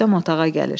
Rüstəm otağa gəlir.